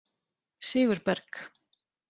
Sigurberg